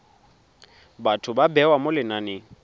batho ba bewa mo lenaneng